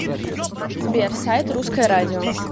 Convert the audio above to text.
сбер сайт русское радио